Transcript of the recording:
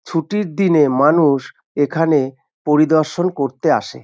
ছুটির দিনে মানুষ এখানে পরিদর্শন করতে আসে।